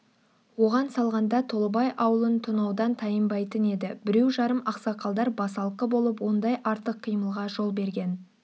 оған салғанда толыбай аулын тонаудан тайынбайтын еді біреу-жарым ақсақалдар басалқы болып ондай артық қимылға жол берген